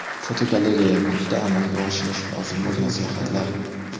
Fotogalereya: Kuzda amalga oshirish lozim bo‘lgan sayohatlar.